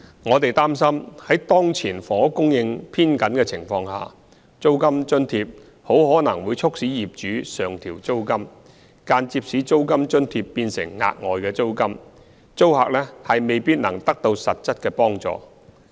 我們擔心在當前房屋供應偏緊的情況下，租金津貼很可能會促使業主上調租金，間接使租金津貼變成額外租金，租客未必能得到實質的幫助。